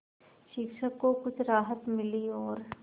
शिक्षक को कुछ राहत मिली और